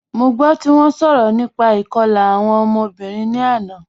Mo gbọ ti wọn sọrọ nípà ikọ̀la awọn ọmọ̀bìrín ni àná